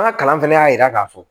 An ka kalan fɛnɛ y'a yira k'a fɔ